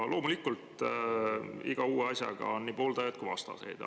Loomulikult on igal uuel asjal nii pooldajaid kui ka vastaseid.